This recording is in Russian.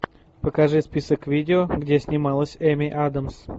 покажи список видео где снималась эми адамс